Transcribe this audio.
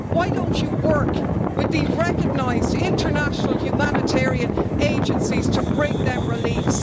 Why don't you work with the recognised international humanitarian agencies to bring them relief?